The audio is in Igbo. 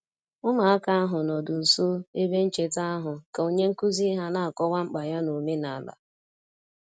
Ụmụaka ahụ nọdụ nso ebe ncheta ahụ ka onye nkuzi ha na-akọwa mkpa ya n'omenala